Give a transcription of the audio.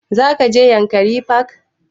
Za ka je yankari park?